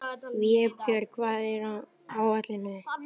Vébjörg, hvað er á áætluninni minni í dag?